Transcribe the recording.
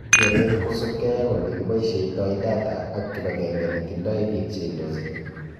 Kereet kosubkei ak olekiboisietoi data ak kibagenge netindoi biik cheindochin